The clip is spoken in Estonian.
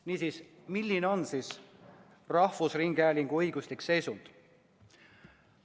Niisiis, milline on rahvusringhäälingu õiguslik seisund?